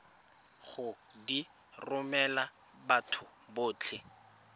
go di romela batho botlhe